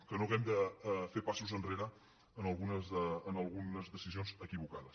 que no hàgim de fer passos enrere en algunes decisions equivocades